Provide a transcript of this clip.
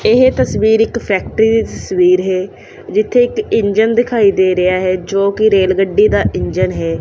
ਇਹ ਤਸਵੀਰ ਇੱਕ ਫੈਕਟਰੀ ਦੀ ਤਸਵੀਰ ਹੈ ਜਿੱਥੇ ਇੱਕ ਇੰਜਣ ਦਿਖਾਈ ਦੇ ਰਿਹਾ ਹੈ ਜੋ ਕਿ ਰੇਲ ਗੱਡੀ ਦਾ ਇੰਜਣ ਹੈ।